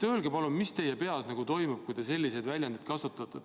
Öelge palun, mis teie peas toimub, kui te selliseid väljendeid kasutate!